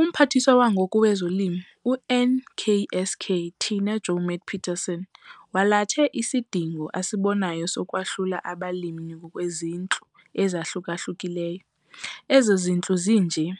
UMphathiswa wangoku wezoLimo, uNksk Tina Joemat-Pettersson walathe isidingo asibonayo sokwahlula abalimi ngokwezintlu ezahluka-hlukileyo. Ezo zintlu zinje-